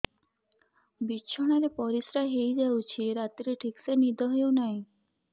ବିଛଣା ରେ ପରିଶ୍ରା ହେଇ ଯାଉଛି ରାତିରେ ଠିକ ସେ ନିଦ ହେଉନାହିଁ